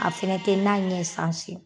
a fɛnɛ te na ɲɛ sanse.